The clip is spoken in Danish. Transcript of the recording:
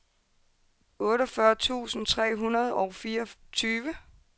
otteogfyrre tusind tre hundrede og fireogtyve